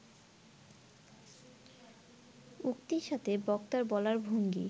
উক্তির সাথে বক্তার বলার ভঙ্গি